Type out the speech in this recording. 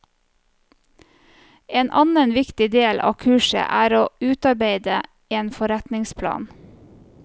En annen viktig del av kurset er å utarbeide en forretningsplan.